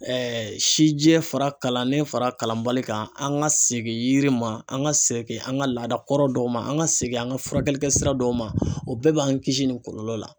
sijɛ fara kalannen fara kalanbali kan an ka segin yiri ma an ka segin an ka laadakɔrɔ dɔw ma an ka segin an ka furakɛli kɛ sira dɔw ma o bɛɛ b'an kisi nin kɔlɔlɔ la.